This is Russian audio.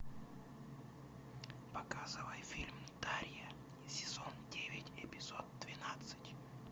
показывай фильм дарья сезон девять эпизод двенадцать